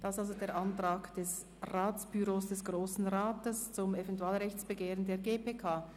Dies der Antrag des Büros des Grossen Rats zum Eventualrechtsbegehren der GPK.